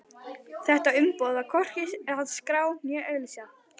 Þetta umboð þarf hvorki að skrá né auglýsa.